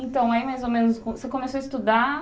Então, aí, mais ou menos, você começou a estudar?